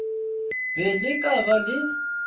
be le ka ba le